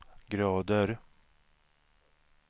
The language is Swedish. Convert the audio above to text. grader